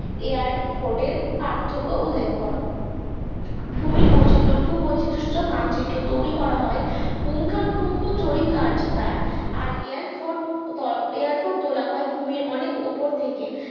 এয়ারফর্ট এর পার্থক্য উল্লেখ কর ভূমি বৈচিত্র্য ভূবৈচিত্র সূচক মানচিত্র তৈরি করা হয় পুংখানু পুঙ্খু চরিত কার্যের দ্বারা এয়ারফর্ট এয়ারফর্ট তোলা হয় ভূমির অনেক উপর থেকে